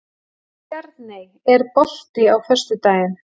Stjarney, er bolti á föstudaginn?